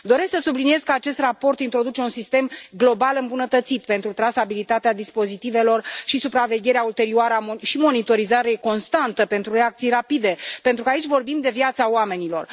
Doresc să subliniez că acest raport introduce un sistem global îmbunătățit pentru trasabilitatea dispozitivelor și supravegherea ulterioară și monitorizare constantă pentru reacții rapide, pentru că aici vorbim de viața oamenilor.